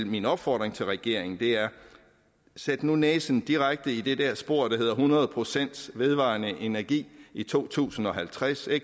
min opfordring til regeringen sæt nu næsen direkte i det det spor der hedder hundrede procent vedvarende energi i to tusind og halvtreds